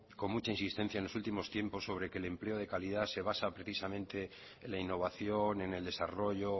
con mucha insistencia en los últimos tiempos sobre que el empleo de calidad se basa precisamente en la innovación en el desarrollo